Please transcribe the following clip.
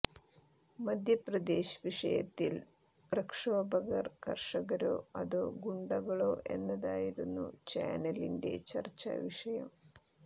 മധ്യപ്രദേശ് വിഷയത്തിൽ പ്രക്ഷോഭകർ കർഷകരോ അതോ ഗുണ്ടകളോ എന്നതായിരുന്നു ചാനലിന്റെ ചർച്ചാ വിഷയം